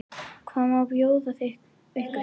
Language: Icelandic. Hvað má bjóða ykkur?